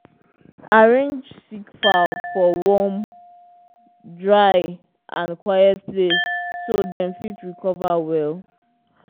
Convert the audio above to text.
arrange sick fowl for warm dry and quiet place so dem fit recover well.